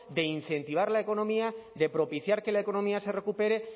de incentivar la economía de propiciar que la economía se recupere